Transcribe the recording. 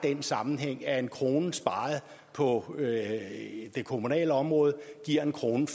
er den sammenhæng at en krone sparet på det kommunale område giver en krone